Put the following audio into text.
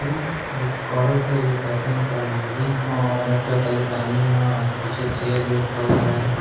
एं एक औरत है जो पैसे निकाल रही होगी और रेड कलर का जो पहनी है और पीछे एक चेयर भी रखा हुआ है।